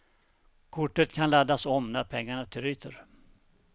Kortet kan laddas om, när pengarna tryter.